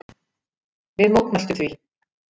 Við mótmæltum því.